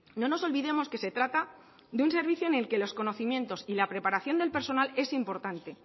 no nos olvidemos que se trata de un servicio en el que los conocimientos y la preparación del personal es importante